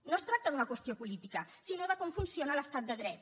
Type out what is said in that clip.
no es tracta d’una qüestió política sinó de com funciona l’estat de dret